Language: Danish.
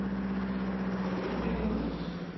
Benelux